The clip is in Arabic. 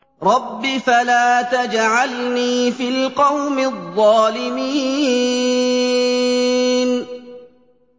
رَبِّ فَلَا تَجْعَلْنِي فِي الْقَوْمِ الظَّالِمِينَ